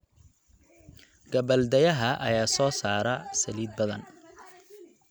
Gabbaldayaha ayaa soo saara saliid badan.